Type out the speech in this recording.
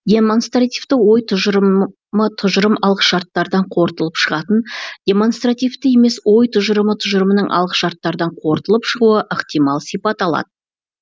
демонстративті ой тұжырымы тұжырым алғышарттардан қорытылып шығатын демонстративті емес ой тұжырымы тұжырымның алғышарттардан қорытылып шығуы ықтимал сипат алады